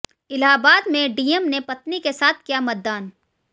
इलाहाबाद में डीएम ने पत्नी के साथ किया मतदान